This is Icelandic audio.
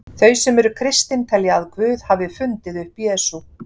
Þau sem eru kristin telja að Guð hafi fundið upp Jesú.